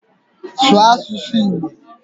Sụọ asụsụ Igbo!